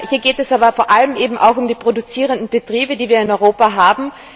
Hier geht es aber vor allem eben auch um die produzierenden Betriebe, die wir in Europa haben.